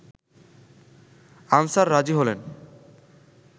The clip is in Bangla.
আনসার রাজি হলেন